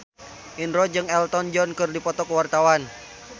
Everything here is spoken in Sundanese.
Indro jeung Elton John keur dipoto ku wartawan